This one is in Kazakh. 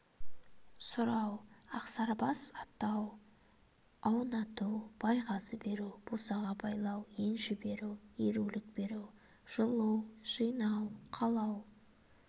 сұрау ақсарбас атау аунату байғазы беру босаға байлау енші беру ерулік беру жылу жинау қалау